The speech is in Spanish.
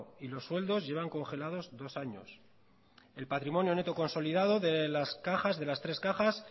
y los sueldos llevan congelados dos años el patrimonio neto consolidado de las tres cajas